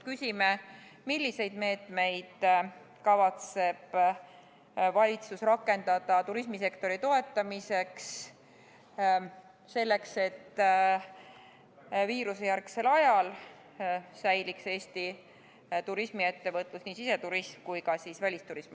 Küsime, milliseid meetmeid kavatseb valitsus rakendada turismisektori toetamiseks, et viirusejärgsel ajal säiliks Eesti turismiettevõtlus – nii siseturism kui ka välisturism.